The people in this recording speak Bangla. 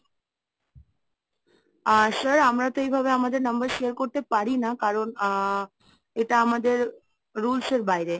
আ sir আমরা তো এইভাবে আমাদের number share করতে পারি না কারণ আ এটা আমাদের rules এর বাইরে।